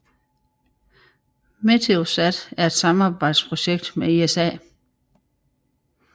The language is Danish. Meteosat er et samarbejdsprojekt med ESA